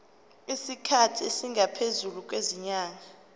isikhathi esingaphezulu kwezinyanga